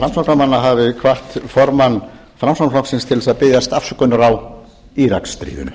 framsóknarmanna hafi hvatt formann framsóknarflokksins til þess að biðjast afsökunar á íraksstríðinu